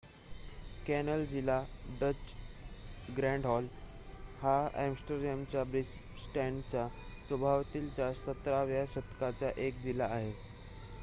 canal जिल्हा डच: Grachtengordel हा आम्सटरडॅमच्या बिन्नेस्टॅडच्या सभोवतालचा 17 व्या शतकाचा एक जिल्हा आहे